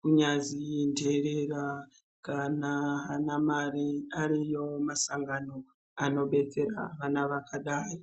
Kunyazi interera kana haana mare, ariyo masangano anodetsera vana vakadai.